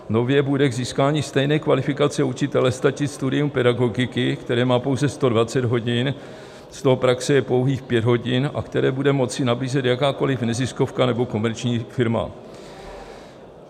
Nově bude k získání stejné kvalifikace učitele stačit studium pedagogiky, které má pouze 120 hodin, z toho praxe je pouhých 5 hodin, a které bude moci nabízet jakákoliv neziskovka nebo komerční firma.